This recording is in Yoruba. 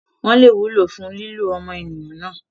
wọ́n lè wúlò fún lílò ọmọnìyàn náà.